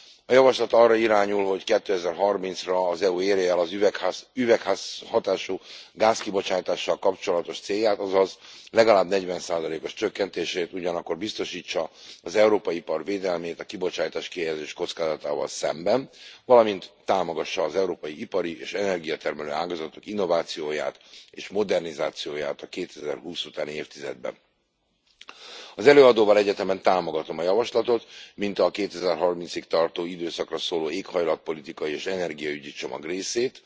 A javaslat arra irányul, hogy 2030 ra az EU érje el az üvegházhatásúgáz kibocsátással kapcsolatos célját, azaz legalább 40 százalékos csökkentését, ugyanakkor biztosítsa az európai ipar védelmét, a kibocsátáskihelyezés kockázatával szemben, valamint támogassa az európai ipari és energiatermelő ágazatok innovációját és modernizációját a 2020 utáni évtizedben. Az előadóval egyetemben támogatom a javaslatot mint a 2030 ig tartó időszakra szóló éghajlat politikai és energiaügyi csomag részét.